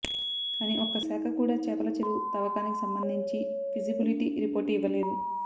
కానీ ఒక్క శాఖ కూడా చేపల చెరువు తవ్వకానికి సంబంధించి ఫీజిబులిటీ రిపోర్టు ఇవ్వలేదు